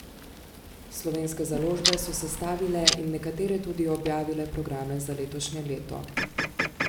Slovenske založbe so sestavile in nekatere tudi objavile programe za letošnje leto.